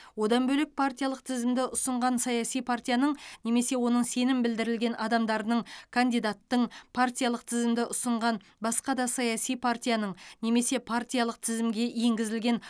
одан бөлек партиялық тізімді ұсынған саяси партияның немесе оның сенім білдірілген адамдарының кандидаттың партиялық тізімді ұсынған басқа да саяси партияның немесе партиялық тізімге енгізілген